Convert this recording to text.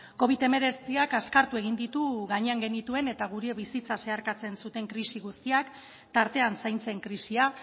covid hemeretziak azkartu egin ditu gainean genituen eta gure bizitza zeharkatzen zuten krisi guztiak tartean zaintzen krisia